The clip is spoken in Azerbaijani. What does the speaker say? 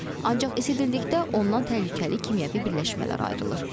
Ancaq isidildikdə ondan təhlükəli kimyəvi birləşmələr ayrılır.